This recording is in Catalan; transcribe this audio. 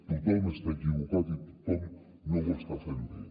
tothom està equivocat i ningú no ho està fent bé